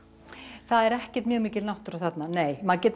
það er ekkert mjög mikil náttúra þarna nei maður getur